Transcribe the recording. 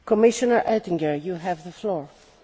Frau Präsidentin, meine Damen und Herren!